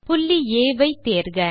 புள்ளி ஆ வை தேர்க